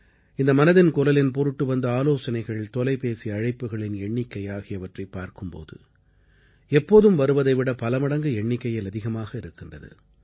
இந்த மனதின் குரலின் பொருட்டு வந்த ஆலோசனைகள் தொலைபேசி அழைப்புகளின் எண்ணிக்கை ஆகியவற்றைப் பார்க்கும் போது எப்போதும் வருவதை விட பல மடங்கு எண்ணிக்கையில் அதிகமாக இருக்கின்றது